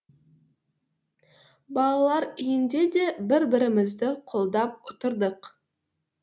балалар үйінде де бір бірімізді қолдап отырдық